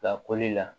Lakoli la